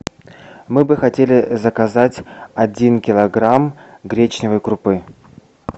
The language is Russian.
мы бы хотели заказать один килограмм гречневой крупы